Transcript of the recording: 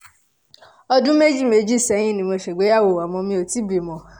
ọdún méjì méjì sẹ́yìn ni mo ṣègbéyàwó àmọ́ mi ò tíì bímọ